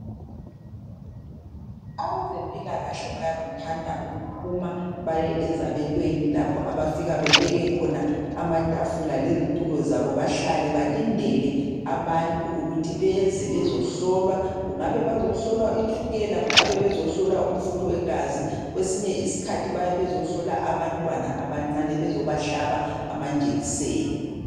Abezempilakahle bayakuthanda ukuphuma baye ezabelweni, lapho abafika bebeke khona amatafula lezitulo zabo bahlale balindele abantu ukuthi beze bezohlolwa. Kungabe bazohlolwa itshukela, kungabe bezohlolwa umfutho wegazi, kwesinye isikhathi bayabe bezohlola abantwana abancane bezobahlaba amanjekiseni.